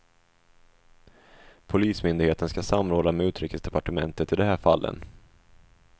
Polismyndigheten ska samråda med utrikesdepartementet i de här fallen.